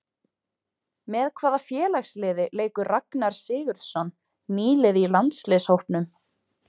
Með hvaða félagsliði leikur Ragnar Sigurðsson, nýliði í landsliðshópnum?